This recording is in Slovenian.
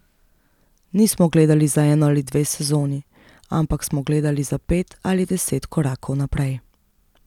Nismo gledali za eno ali dve sezoni, ampak smo gledali za pet ali deset korakov naprej.